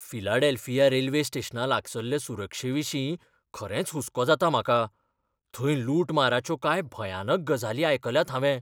Philadelphia railway स्टेशना लागसल्ले सुरक्षेविशीं खरेंच हुसको जाता म्हाका, थंय लुटमाराच्यो कांय भयानक गजाली आयकल्यात हांवें.